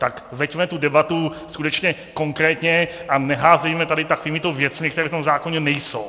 Tak veďme tu debatu skutečně konkrétně a neházejme tady takovými věcmi, které v tom zákoně nejsou.